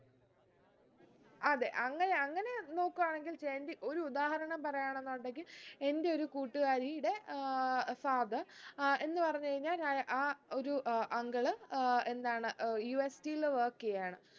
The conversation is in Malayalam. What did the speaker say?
അതെ അങ്ങനെ അങ്ങനെ നോക്ക് ആണെങ്കിൽ ജയന്തി ഒരുദാഹരണം പറയാണെന്നുണ്ടെങ്കിൽ എന്റെ ഒരു കൂട്ടുകാരീടെ ഏർ സാദ് ഏർ എന്ന് പറഞ്ഞ് കഴിഞ്ഞാ രാ ആ ഒരു ഏർ uncle ഏർ എന്താണ് ഏർ UST ൽ work എയ്യാണ്